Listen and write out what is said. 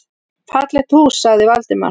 Fallegt hús sagði Valdimar.